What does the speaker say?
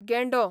गेंडो